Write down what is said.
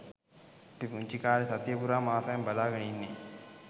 අපි පුන්චි කාලෙ සතිය පුරාම ආසාවෙන් බලාගෙන ඉන්නෙ